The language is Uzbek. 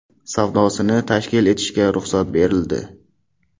savdosini tashkil etishga ruxsat berildi.